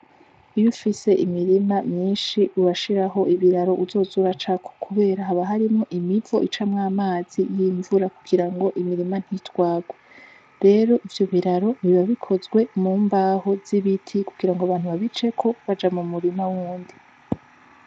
Iyufise imirima myinshi urashiraho ibiraro uzoz'uracako kubera haba harimwo imivo izoz' iracamwo amazi y'imvura kugirango imirima ntitwarwe rero ivyo biraro biba bikozwe mu mbaho z'ibiti kugirango abantu babiceko baja mu murima wundi.